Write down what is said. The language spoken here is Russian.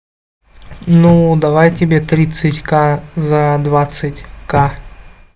ну давай тебе тридцать ка за двадцать ка